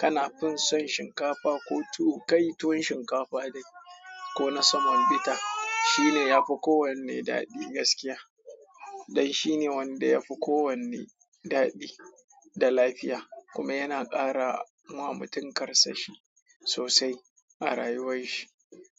Kana fin son shinkafa ko tuwo, kai tuwon shinkafa dai ko na saman bita, shine yafi kowanne daɗi gaskiya. Dan shine wanda yafi kowanne daɗi da lafiya, kuma yana ƙara ma mutum karsashi sosai a rayuwar shi.